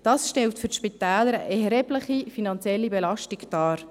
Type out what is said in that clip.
Dies stellt für die Spitäler eine erhebliche finanzielle Belastung dar.